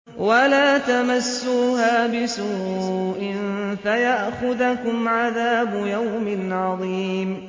وَلَا تَمَسُّوهَا بِسُوءٍ فَيَأْخُذَكُمْ عَذَابُ يَوْمٍ عَظِيمٍ